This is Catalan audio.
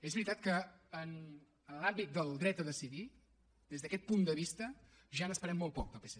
és veritat que en l’àmbit del dret a decidir des d’aquest punt de vista ja n’esperem molt poc del psc